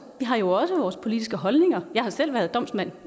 har jo også vores politiske holdninger jeg har selv været domsmand